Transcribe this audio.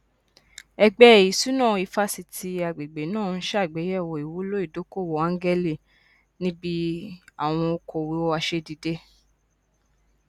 ẹgbẹ ìṣúná ifásitì agbègbè náà n ṣàgbéyẹwò ìwúlò ìdókòwò ángẹlì níbi àwọn okòwò asẹdìde